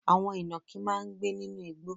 Àwọn ìnàkí máa ń gbé nínú igbó.